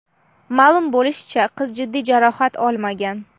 Ma’lum bo‘lishicha, qiz jiddiy jarohat olmagan.